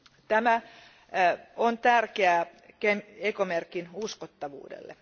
Tämä on tärkeää ekomerkin uskottavuudelle.